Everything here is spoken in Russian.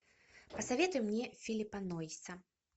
посоветуй мне филиппа нойса